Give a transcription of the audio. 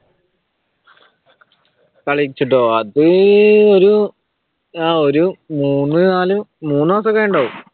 കളിച്ചിട്ടോ അത് ഒരു ആഹ് ഒരു മൂന്ന് നാല് മൂന്ന് മാസം ആയിട്ടുണ്ടാകും